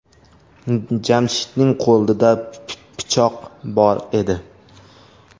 Jamshidning qo‘lida pichoq bor edi.